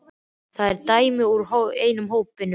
Þetta er dæmi úr einum hópnum: